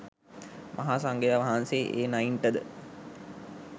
මහා සංඝයා වහන්සේ ඒ නයින්ට ද